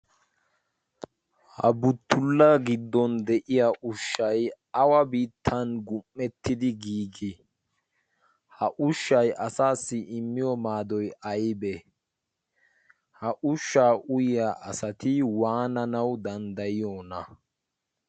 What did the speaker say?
ha buttulla giddon de'iya ushshay awa biittan gum'ettidi giigii ha ushshay asaassi immiyo maadoy aybee ha ushshaa uyiya asati waananawu danddayiyoona?